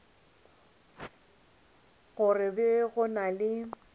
go be go na le